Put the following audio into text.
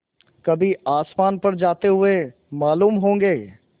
कभी आसमान पर जाते हुए मालूम होंगे